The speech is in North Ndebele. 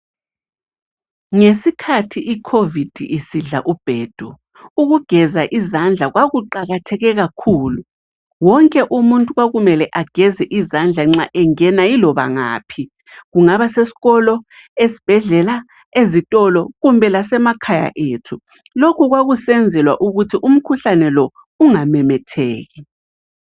Ngesikhathi iCovid isidla ubhedu ukugeza izandla kwakuqakatheke kakhulu. Wonke umuntu kwakumele ageze izandla nxa engena yiloba ngaphi. Kungaba sesikolo, esibhedlela, ezitolo kumbe lasemakhaya ethu. Lokhu kwakusenzelwa ukuthi umkhuhlane lo ungamemetheki.